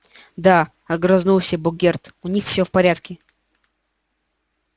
да огрызнулся богерт у них всё в порядке